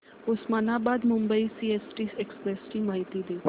Osmanabad Mumbai CST express ची माहिती दे